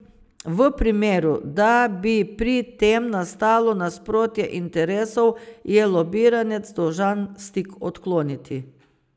V primeru, da bi pri tem nastalo nasprotje interesov, je lobiranec dolžan stik odkloniti.